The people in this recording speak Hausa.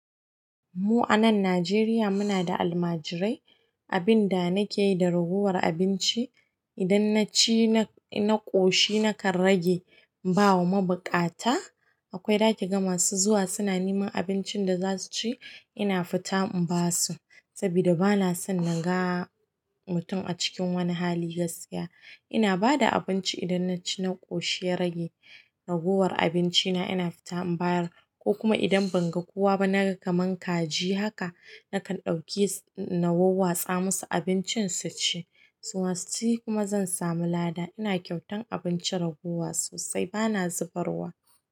Mu a nan Najeriya muna da almajirai. Abin da nake yi da ragowar abinci, idan na ci na ƙoshi nakan rage in ba wa mabuƙata. Akwai zaƙi ga masu zuwa suna neman abincin da za su ci, ina fita in ba su sabida bana son naga mutum a cikin wani hali gaskiya. Ina ba da abinci idan na ci na ƙoshi ya rage. Ragowar abinci na ina fita in bayar, ko kuma idan ban ga kowa ba, naga kaman kaji haka, nakan ɗauke na wowwatsa musu abincin su ci. Suma suci kuma zan samu lada. Ina kyautan abincin ragowa sosai bana zubarwa.